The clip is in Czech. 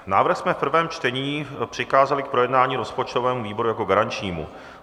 Návrh jsme v prvém čtení přikázali k projednání rozpočtovému výboru jako garančnímu.